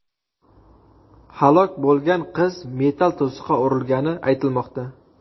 Halok bo‘lgan qiz metall to‘siqqa urilgani aytilmoqda.